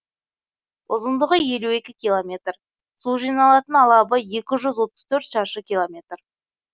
ұзындығы елу екі километр су жиналатын алабы екі жүз отыз төрт шаршы километр